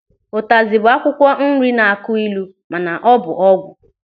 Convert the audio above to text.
Ụtazi bụ akwụkwọ nri na-akụ ịlụ mana ọ bụ ọgwụ.